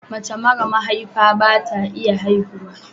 Mace mara mahaifa bata iya haihuwa